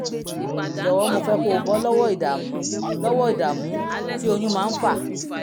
jọ̀wọ́ mo fẹ́ kó o bọ́ lọ́wọ́ ìdààmú lọ́wọ́ ìdààmú tí oyún máa ń fà